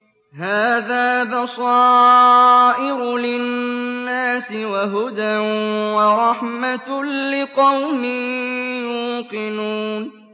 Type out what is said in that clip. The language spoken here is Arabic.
هَٰذَا بَصَائِرُ لِلنَّاسِ وَهُدًى وَرَحْمَةٌ لِّقَوْمٍ يُوقِنُونَ